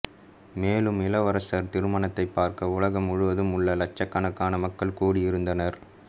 மேலும் இளவரசர் திருமணத்தை பார்க்க உலகம் முழுவதும் உள்ள லட்சகணக்கான மக்கள் கூடி இருந்தனர்